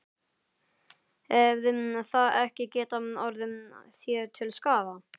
Hefði það ekki getað orðið þér til skaða?